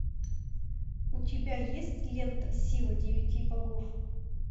у тебя есть лента сила девяти богов